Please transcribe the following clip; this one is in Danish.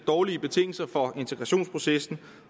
dårlige betingelser for integrationsprocessen